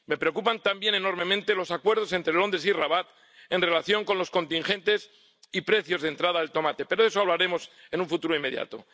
Me preocupan también enormemente los acuerdos entre Londres y Rabat en relación con los contingentes y precios de entrada del tomate —pero de eso hablaremos en un futuro inmediato—.